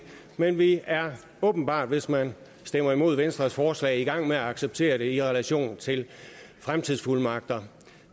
men vi er åbenbart hvis man stemmer imod venstres forslag i gang med at acceptere det i relation til fremtidsfuldmagter